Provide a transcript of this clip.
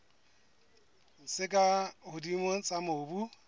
tse ka hodimo tsa mobu